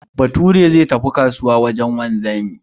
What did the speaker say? Bature zai tafi kasuwa wajen wanzami